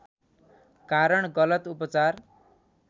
कारण गलत उपचार